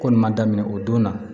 Ko nin man daminɛ o don na